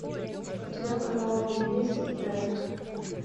у тебя в каталоге есть дерек